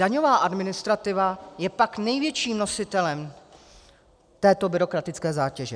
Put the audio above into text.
Daňová administrativa je pak největším nositelem této byrokratické zátěže.